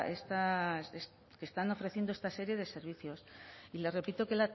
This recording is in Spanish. esta que están ofreciendo esta serie de servicios y le repito